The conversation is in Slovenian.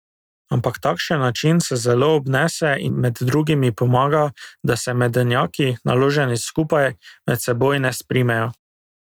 Ampak takšen način se zelo obnese in med drugim pomaga, da se medenjaki, naloženi skupaj, med seboj ne sprimejo.